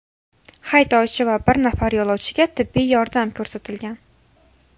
Haydovchi va bir nafar yo‘lovchiga tibbiy yordam ko‘rsatilgan.